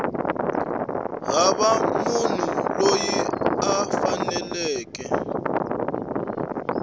hava munhu loyi a faneleke